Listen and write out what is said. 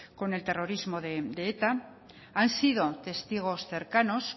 con el terrorismo de eta han sido testigos cercanos